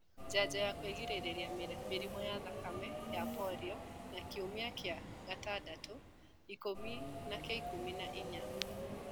Njanjo ya kũgirĩrĩria mĩrimũ ya thakame na polio ya Kiumia kĩa gatandatũ, ikumi na kĩa ikũmi na inya